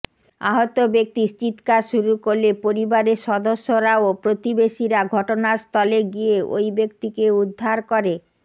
আহত ব্যক্তি চিৎকার শুরু করলে পরিবারের সদস্যরা ও প্রতিবেশিরা ঘটনাস্থলে গিয়ে ওই ব্যক্তিকে উদ্ধার করে